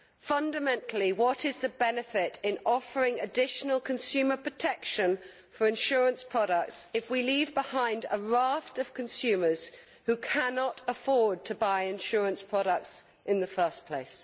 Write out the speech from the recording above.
Fundamentally, what is the benefit of offering additional consumer protection for insurance products if we leave behind a raft of consumers who cannot afford to buy insurance products in the first place?